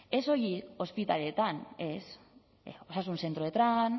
ez soilik ospitaleetan ez